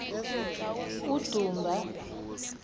udumba